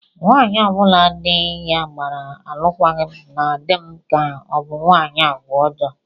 Nwaanyị ọ bụla di ya gbara alụkwaghị m na-adị m ka ọ bụ nwaanyị agwa ọjọọ